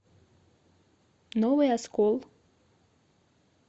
новый оскол